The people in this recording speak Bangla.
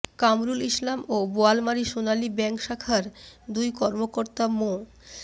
কামরুল ইসলাম ও বোয়ালমারী সোনালী ব্যাংক শাখার দুই কর্মকর্তা মো